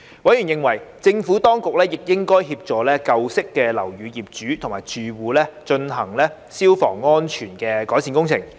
委員認為，政府當局亦應協助舊式樓宇的業主及住戶進行消防安全改善工程。